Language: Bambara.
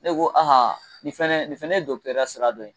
Ne ko ah nin fana nin fana ye dɔgɔtɔrɔya sira dɔ ye